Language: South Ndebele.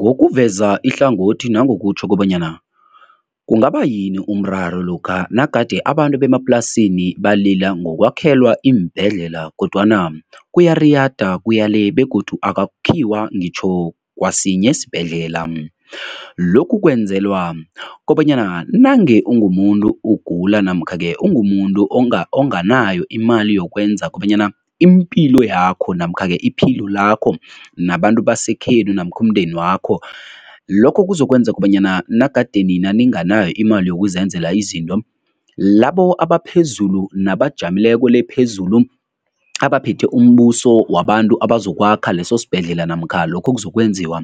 Ngokuveza ihlangothi nangokutjho kobanyana kungaba yini umraro lokha nagade abantu bemaplasini balila ngokwakhelwa iimbhedlela kodwana kuyariyada, kuya le begodu akakhiwa ngitjho kwasinye isibhedlela. Lokhu kwenzelwa kobanyana nange ungumuntu ugula namkha-ke ungumuntu onganayo imali yokwenza kobanyana impilo yakho namkha-ke iphilo lakho nabantu basekhenu namkha umndeni wakho, lokho kuzokwenza kobanyana nagade nina ninganayo imali yokuzenzela izinto, labo abaphezulu nabajamileko le phezulu abaphethe umbuso wabantu abazokwakha leso sibhedlela namkha lokho okuzokwenziwa,